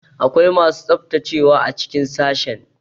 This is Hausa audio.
Akwai masu tsaftacewa a cikin sashen.